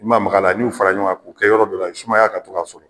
I ma maga a la n y'u fara ɲɔgɔn kan k'u kɛ yɔrɔ dɔ la sumaya ka to k'a sɔrɔ